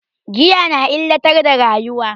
Giya na illatar da rayuwa.